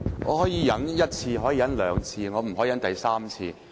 我可以忍受一次、兩次，但我不能忍受第三次。